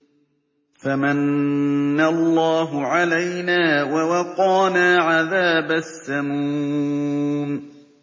فَمَنَّ اللَّهُ عَلَيْنَا وَوَقَانَا عَذَابَ السَّمُومِ